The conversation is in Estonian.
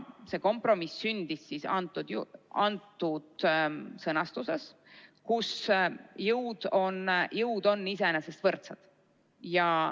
See kompromiss sündis sellises sõnastuses, nii et jõud on iseenesest võrdsed.